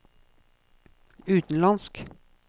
utenlandsk